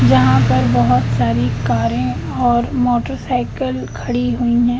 जहां पर बहोत सारी कारें और मोटरसाइकल खड़ी हुई हैं।